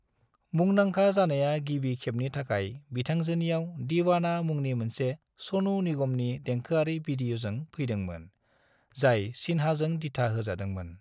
मुंदांखा जानाया गिबि खेबनि थाखाय बिथांजोनियाव "दीवाना" मुंनि मोनसे सनु निगमनि देंखोआरि वीडिय'जों फैदोंमोन, जाय सिन्हाजों दिथा होजादोंमोन।